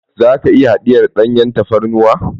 Za ka iya hadiyar danyen tafarnuwa?